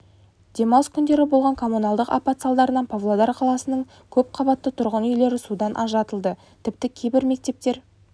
демалыс күндері болған коммуналдық апат салдарынан павлодар қаласының көпқабатты тұрғын үйлері судан ажыратылды тіпті кейбір мектептер